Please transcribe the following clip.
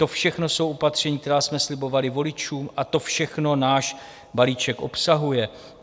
To všechno jsou opatření, která jsme slibovali voličům a to všechno náš balíček obsahuje.